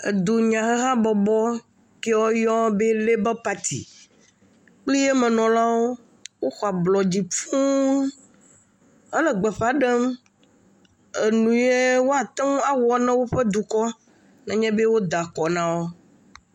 Edunyahabɔbɔ ke woyɔɔ be léba pati kple emenɔlawo, woxɔ ablɔdzi fũu. Ele gbeƒa ɖem enu yɛ woate awɔna eƒe dukɔ nenye be woda akɔ na wo.